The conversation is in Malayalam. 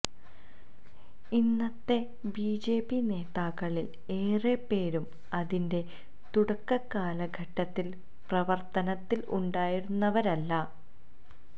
ഇന്നത്തെ ബിജെപി നേതാക്കളിൽ ഏറെപ്പേരും അതിന്റെ തുടക്ക കാലഘട്ടത്തിൽ പ്രവർത്തനത്തിൽ ഉണ്ടായിരുന്നവരല്ല